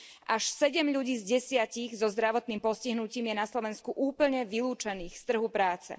Až 7 ľudí z 10 so zdravotným postihnutím je na Slovensku úplne vylúčených z trhu práce.